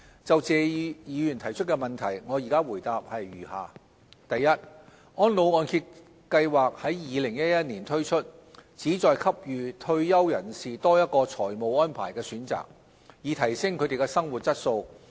就謝議員的質詢，我現答覆如下：一安老按揭計劃於2011年年中推出，旨在給予退休人士多一個財務安排的選擇，以提升他們的生活質素。